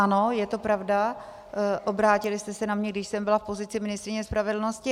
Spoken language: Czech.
Ano, je to pravda, obrátili jste se na mě, když jsem byla v pozici ministryně spravedlnosti.